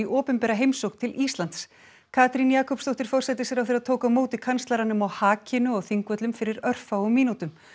opinbera heimsókn til Íslands Katrín Jakobsdóttir forsætisráðherra tók á móti kanslaranum á hakinu á Þingvöllum fyrir örfáum mínútum